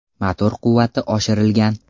Motor quvvati oshirilgan.